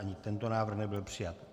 Ani tento návrh nebyl přijat.